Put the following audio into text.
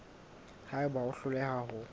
ha eba o hloleha ho